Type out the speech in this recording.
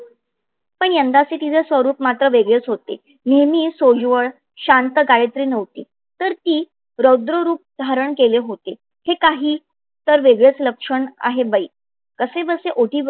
पण यंदाचे तिचे स्वरूप मात्र वेगळेच होते. नेहमी सोजवळ शांत गायत्री नव्हती. तर ती रौद्र रूप धारण केले होते. हे काही वेगळेच लक्षण आहे बाई कसे बसे ओटी